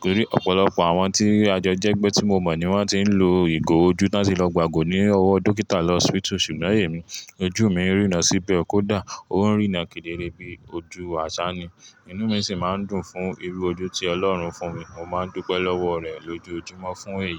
Tori ọ̀pọ̀lọpọ̀ àwọn tí a jọ jẹ́gbẹ́ tí mo mọ̀ ni wọ́n ti ń lo ìgò ojú tan ti lọ gbàgò ní ọwọ́ dókítà lọ hospital ṣùgbọ́n èmi, ojú mi ń rína síbẹ̀ kódà ó ń rína kedere bí ojú àṣá ni. Inú mi sì máa ń dùn fún irú ojú tí Ọlọ́run fún mi. Mo máa ń dúpẹ́ lọ́wọ́ rẹ̀ lójoojúmọ́ fún èyí.